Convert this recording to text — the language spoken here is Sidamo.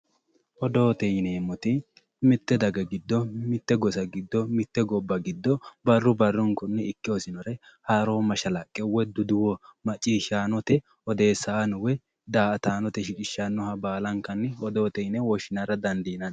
Odoote yineemmoti mite daga giddo mite gosa giddo mite gobba giddo barru barrunkunni ikke hosinore haaro mashalaqqe woyi duduwo maccishshanote odeessanote woyi da"attanote shiqqishanoha baallankanni odoote yine woshshinara dandiinanni.